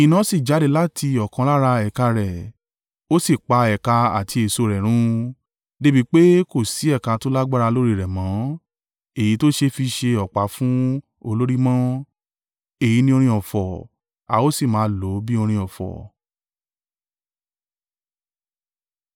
Iná sì jáde láti ọ̀kan lára ẹ̀ka rẹ̀ ó sì pa ẹ̀ka àti èso rẹ̀ run, dé bi pé kò sí ẹ̀ka tó lágbára lórí rẹ̀ mọ́; èyí to ṣe fi ṣe ọ̀pá fún olórí mọ́.’ Èyí ni orin ọ̀fọ̀ a o sì máa lo bí orin ọ̀fọ̀.”